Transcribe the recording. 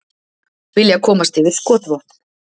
Vilja komast yfir skotvopn